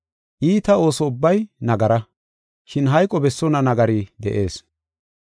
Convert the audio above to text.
Iita ooso ubbay nagara, shin hayqo bessonna nagari de7ees.